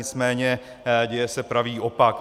Nicméně děje se pravý opak.